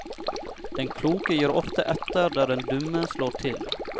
Den kloke gir ofte etter der den dumme slår til.